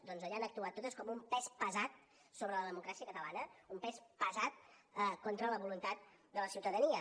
doncs allà han actuat totes com un pes pesant sobre la democràcia catalana un pes pesant contra la voluntat de la ciutadania